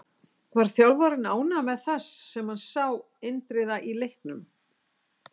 Var þjálfarinn ánægður með það sem hann sá Indriða í leiknum?